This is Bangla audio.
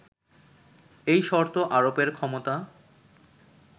এই শর্ত আরোপের ক্ষমতা